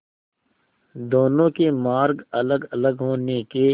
दोनों के मार्ग अलगअलग होने के